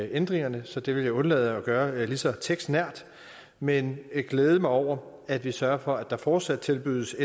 ændringerne så det vil jeg undlade at gøre lige så tekstnært men glæde mig over at vi sørger for at der fortsat tilbydes